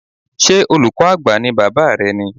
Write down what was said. Ṣé olùkọ́ Àgbà ní Bàbá rẹ ni?